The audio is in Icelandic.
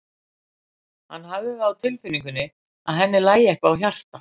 Hann hafði það á tilfinningunni að henni lægi eitthvað á hjarta.